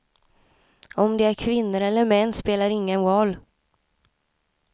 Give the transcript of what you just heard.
Om de är kvinnor eller män spelar ingen roll.